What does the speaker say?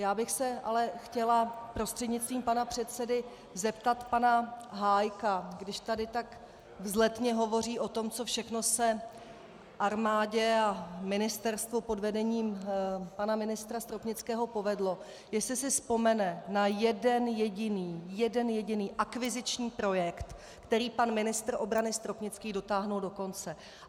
Já bych se ale chtěla prostřednictvím pana předsedy zeptat pana Hájka, když tady tak vzletně hovoří o tom, co všechno se armádě a ministerstvu pod vedením pana ministra Stropnického povedlo, jestli si vzpomene na jeden jediný, jeden jediný akviziční projekt, který pan ministr obrany Stropnický dotáhl do konce.